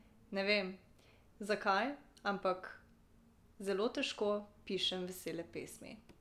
Ne vem, zakaj, ampak zelo težko pišem vesele pesmi.